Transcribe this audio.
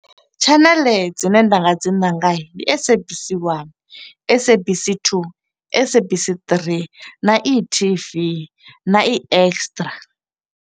Tshaneḽe dzine nda nga dzi ṅanga ndi SABC 1, SABC 2, SABC 3, na e-TV, na e-Extra.